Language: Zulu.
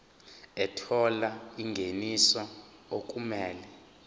ethola ingeniso okumele